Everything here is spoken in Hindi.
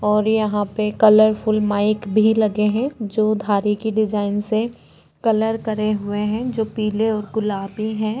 और यहाँ पे कलर फूल माइक भी लगे हैं जो धारी की डिझाईन से कलर करे हुए हैं जो पीले और गुलाबी हैं।